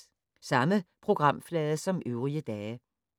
Samme programflade som øvrige dage